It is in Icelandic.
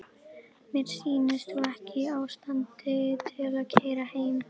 Mér sýnist þú ekki í ástandi til að keyra heim.